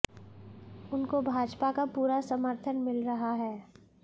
उनको भाजपा का पूरा समर्थन मिल रहा है